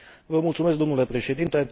Vă mulțumesc, domnule președinte.